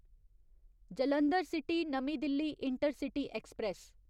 Jalandhar city नमीं Delhi intercity express